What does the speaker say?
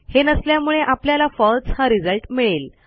हे नसल्यामुळे आपल्याला फळसे हा रिझल्ट मिळेल